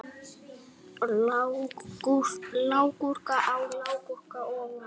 Lágkúra á lágkúru ofan.